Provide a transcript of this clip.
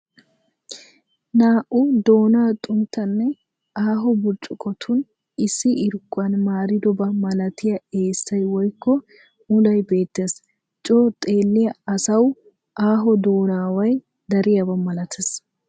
Na'u doona xunttanne aaho burccukottuni issi irkuwaan maaridoba malattiy eessay woyikko muullay beettes. Coo xeeliyaa asawu aaho doonaway dariyaaba malattes.